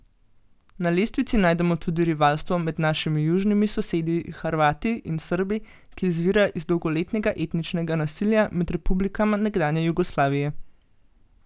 Na lestvici najdemo tudi rivalstvo med našimi južnimi sosedi Hrvati in Srbi, ki izvira iz dolgoletnega etničnega nasilja med republikama nekdanje Jugoslavije.